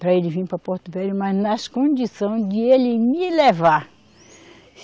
Para ele vir para Porto Velho, mas nas condição de ele me levar.